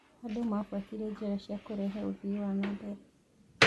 Andũ mabuatire njĩra cia kũrehe ũthii wa na mbere.